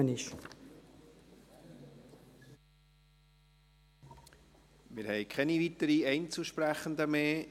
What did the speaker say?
Wir haben keine weiteren Einzelsprechenden mehr.